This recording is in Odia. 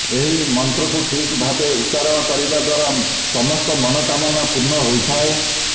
ଏହି ମନ୍ତ୍ରକୁ ଠିକ ଭାବେ ଉଚ୍ଚାରଣ କରିବା ଦ୍ୱାରା ସମସ୍ତ ମନୋକାମନା ପୂର୍ଣ୍ଣ ହୋଇଥାଏ